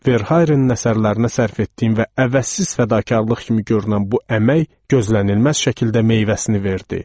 Verharenin əsərlərinə sərf etdiyim və əvəzsiz fədakarlıq kimi görünən bu əmək gözlənilməz şəkildə meyvəsini verdi.